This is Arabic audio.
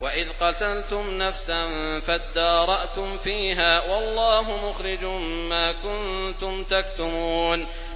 وَإِذْ قَتَلْتُمْ نَفْسًا فَادَّارَأْتُمْ فِيهَا ۖ وَاللَّهُ مُخْرِجٌ مَّا كُنتُمْ تَكْتُمُونَ